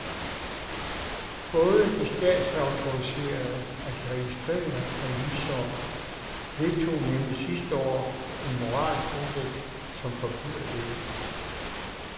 Både de statsautoriserede og de registrerede revisorer vedtog nemlig sidste år en moralkodeks, som forbyder dette.